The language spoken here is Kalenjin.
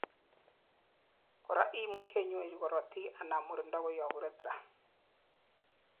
korak imuchei inyoru korotik anan murindo koyob urethra